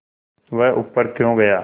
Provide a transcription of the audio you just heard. वह ऊपर क्यों गया